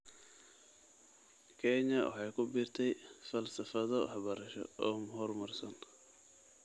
Kenya waxay ku biirtay falsafado waxbarasho oo horumarsan.